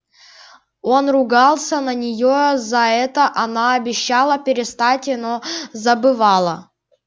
он ругался на неё за это она обещала перестать но забывала